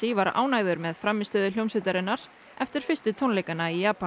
var ánægður með frammistöðu hljómsveitarinnar eftir fyrstu tónleikana í Japan